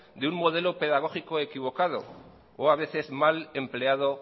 de un modelo pedagógico equivocado o a veces mal empleado